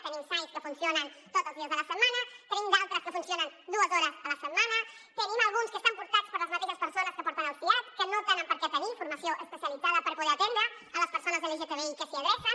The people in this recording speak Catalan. tenim sais que funcionen tots els dies de la setmana en tenim d’altres que funcionen dues hores a la setmana en tenim alguns que estan portats per les mateixes persones que porten el siad que no tenen per què tenir formació especialitzada per poder atendre les persones lgtbi que s’hi adrecen